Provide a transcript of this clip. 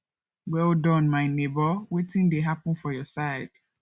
well Accepted my nebor wetin dey happen for your side